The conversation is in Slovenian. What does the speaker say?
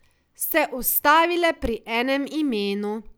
Se ustavile pri enem imenu.